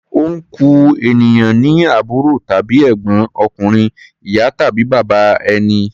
Ọnkú ènìyàn ni àbúrò tàbí ègbọ́n ọkùnrin ìyá tàbí bàbá ẹni.